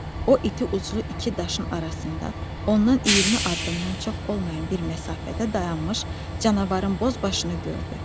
O iti ucu iki daşın arasında, ondan 20 addımdan çox olmayan bir məsafədə dayanmış canavarın boz başını gördü.